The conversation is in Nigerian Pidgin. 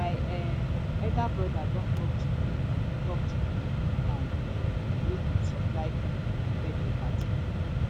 my um elder broda don talk to the talk to the woman um wey go supply food for the birthday party